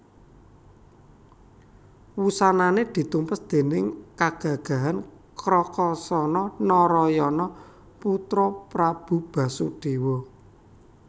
Wusanané ditumpes déning kagagahan Krakasana Narayana putra Prabu Basudéwa